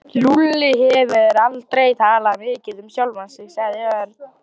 Lúlli hefur aldrei talað mikið um sjálfan sig sagði Örn.